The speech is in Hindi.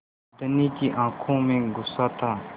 धनी की आँखों में गुस्सा था